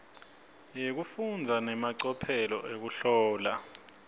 yekufundza nemacophelo ekuhlola